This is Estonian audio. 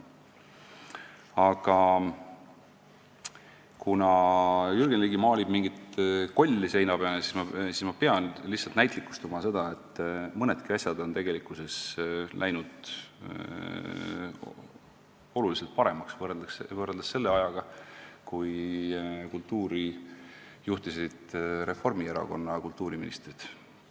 Aga kuna Jürgen Ligi maalib mingit kolli seina peale, siis ma pean lihtsalt näitlikustama seda, et mõnedki asjad on läinud oluliselt paremaks võrreldes selle ajaga, kui kultuurielu juhtisid Reformierakonna kultuuriministrid.